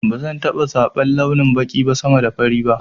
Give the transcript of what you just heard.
Bazan taɓa zaban launin baƙi sama da fari ba